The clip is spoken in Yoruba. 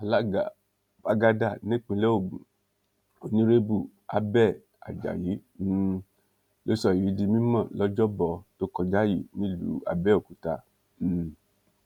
alága págádà nípínlẹ ogun onírèbù abẹẹ ajayi um ló sọ èyí di mímọ lọjọbọ tó kọjá yìí nílùú àbẹòkúta um